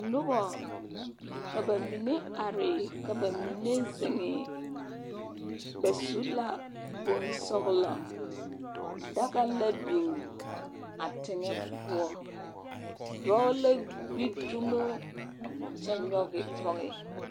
Nobɔ, ka ba mine are, ka ba mine zeŋee. Daga la biŋ a teŋɛ poɔ. Dɔɔ la gbi dumo a kyɛ nyɔge pɔge.